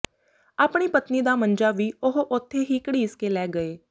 ਆਪਣੀ ਪਤਨੀ ਦਾ ਮੰਜਾ ਵੀ ਉਹ ਉੱਥੇ ਹੀ ਘੜੀਸ ਕੇ ਲੈ ਗਏ